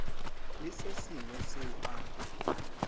le se sengwe seo a